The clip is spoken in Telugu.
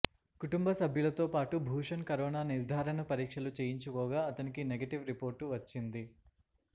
కుటుంబ సభ్యులతో పాటు భూషణ్ కరోనా నిర్ధారణ పరీక్షలు చేయించుకోగా అతనికి నెగిటివ్ రిపోర్టు వచ్చింది